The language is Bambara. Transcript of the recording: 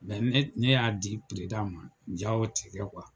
ne y'a di ma jaa o ti kɛ